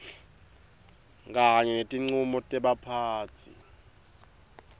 kanye netincumo tebaphatsi